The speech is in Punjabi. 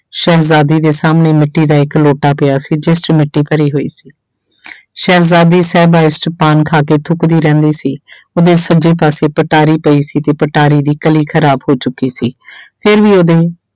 ਸ਼ਹਿਜਾਦੀ ਦੇ ਸਾਹਮਣੇ ਮਿੱਟੀ ਦਾ ਇੱਕ ਲੋਟਾ ਪਿਆ ਸੀ ਜਿਸ 'ਚ ਮਿੱਟੀ ਭਰੀ ਹੋਈ ਸੀ ਸ਼ਹਿਜਾਦੀ ਸਾਹਿਬਾਂ ਇਸ 'ਚ ਪਾਨ ਖਾ ਕੇ ਥੁਕਦੀ ਰਹਿੰਦੀ ਸੀ ਉਹਦੇ ਸੱਜੇ ਪਾਸੇ ਪਟਾਰੀ ਪਈ ਸੀ ਤੇ ਪਟਾਰੀ ਦੀ ਕਲੀ ਖ਼ਰਾਬ ਹੋ ਚੁੱਕੀ ਸੀ ਫਿਰ ਵੀ ਉਹਦੇ